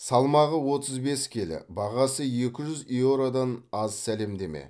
салмағы отыз бес келі бағасы екі жүз еуродан аз сәлемдеме